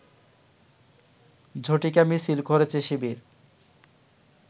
ঝটিকা মিছিল করেছে শিবির